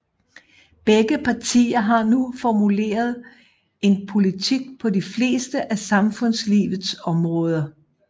Begge partier har nu formuleret en politik på de fleste af samfundslivets områder